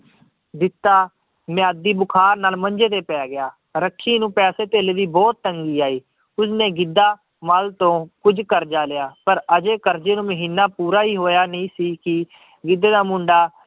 ਜਿੱਤਾ ਮਿਆਦੀ ਬੁਖਾਰ ਨਾਲ ਮੰਜੇ ਤੇ ਪੈ ਗਿਆ, ਰੱਖੀ ਨੂੰ ਪੈਸੇ ਧੇਲੇ ਦੀ ਬਹੁਤ ਤੰਗੀ ਆਈ, ਉਸਨੇ ਗਿੱਧਾ ਮਾਲ ਤੋਂ ਕੁੱਝ ਕਰਜ਼ਾ ਲਿਆ ਪਰ ਹਜੇ ਕਰਜ਼ੇ ਨੂੰ ਮਹੀਨਾ ਪੂਰਾ ਹੀ ਹੋਇਆ ਨਹੀਂ ਸੀ, ਕਿ ਗਿੱਧੇ ਦਾ ਮੁੰਡਾ